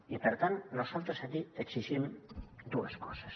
i per tant nosaltres aquí exigim dues coses